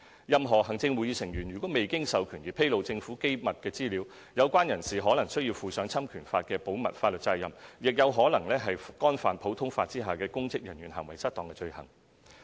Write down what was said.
任何行政會議成員如未經授權而披露政府機密資料，有關人士可能須負上侵權法的保密法律責任，亦可能干犯普通法下的"公職人員行為失當"罪行。